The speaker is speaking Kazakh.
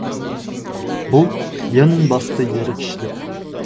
бұл ең басты ерікшілік